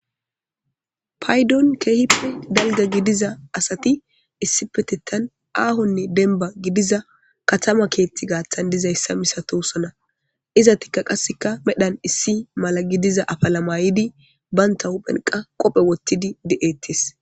Paydon keehippe dalgga gidiza asati issipetethan aahonne dembba gidiza katama keethti gaaththan dizayssa misatosona izatikka qasseka medhan issi mala gidiza afala maydi banta huphen qa qophe wottidi de7ettees.